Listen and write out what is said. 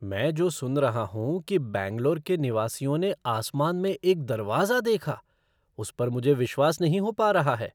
मैं जो सुन रहा हूँ कि बैंगलोर के निवासियों ने आसमान में एक दरवाजा देखा, उस पर मुझे विश्वास नहीं हो पा रहा है।